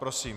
Prosím.